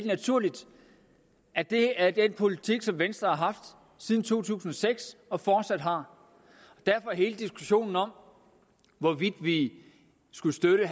naturligt at det er den politik venstre har haft siden to tusind og seks og fortsat har derfor er hele diskussionen om hvorvidt vi skulle støtte